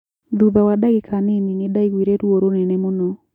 Thutha wa ndagĩka nini nindaiguire ruo rũnene mũno